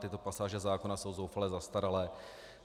Tyto pasáže zákona jsou zoufale zastaralé.